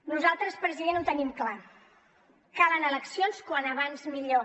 nosaltres president ho tenim clar cal anar a eleccions com més aviat millor